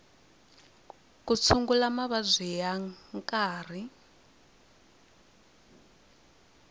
ku tshungula mavabyi ya nkarhi